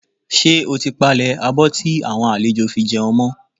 Ṣé o ti palẹ̀ abọ́ tí àwọn àlejò fi jẹun mọ́?